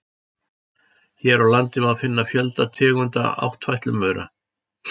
Hér á landi má finna fjölda tegunda áttfætlumaura.